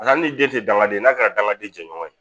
den tɛ dangaden ye n'a kɛra dangaden jɛɲɔgɔn ye